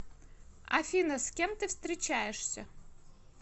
афина с кем ты встречаешься